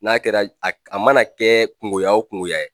N'a kɛra a mana kɛ kungoya o kungoya ye